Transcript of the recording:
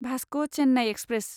Vasco Chennai express